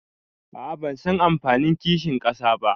aa bansan anfanin kinshin kasa ba